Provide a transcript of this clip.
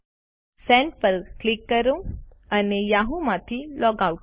send button પર click કરો અને યાહૂમાંથી લૉગ આઉટ થાઓ